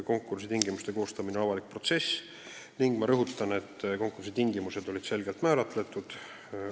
Konkursi tingimuste koostamine on avalik protsess ning ma rõhutan, et konkursi tingimused olid selgelt määratletud.